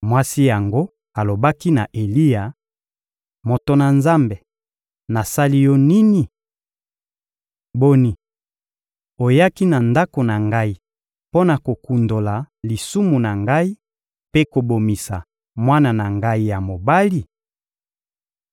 Mwasi yango alobaki na Eliya: — Moto na Nzambe, nasali yo nini? Boni, oyaki na ndako na ngai mpo na kokundola lisumu na ngai mpe kobomisa mwana na ngai ya mobali?